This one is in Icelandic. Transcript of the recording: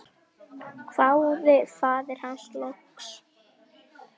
hváði faðir hans loks.